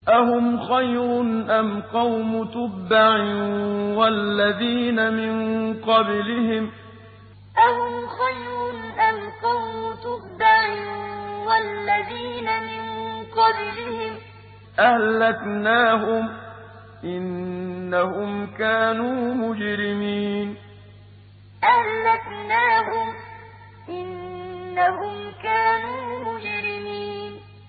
أَهُمْ خَيْرٌ أَمْ قَوْمُ تُبَّعٍ وَالَّذِينَ مِن قَبْلِهِمْ ۚ أَهْلَكْنَاهُمْ ۖ إِنَّهُمْ كَانُوا مُجْرِمِينَ أَهُمْ خَيْرٌ أَمْ قَوْمُ تُبَّعٍ وَالَّذِينَ مِن قَبْلِهِمْ ۚ أَهْلَكْنَاهُمْ ۖ إِنَّهُمْ كَانُوا مُجْرِمِينَ